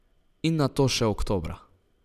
In nato še oktobra.